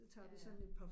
Ja